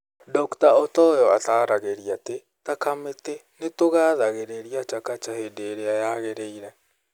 Dr Otoyo ataaragĩria atĩ, "ta kamĩtĩ, nĩ tũgathagĩrĩria Chakacha hĩndĩ ĩrĩa yagĩrĩire.